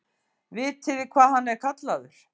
Vitiði hvað hann er kallaður?